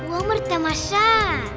өмір тамаша